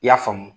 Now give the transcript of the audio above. I y'a faamu